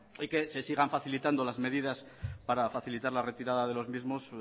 y que se sigan facilitando las medidas para facilitar la retirada de los mismos